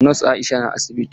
Nos Aisha na asibiti?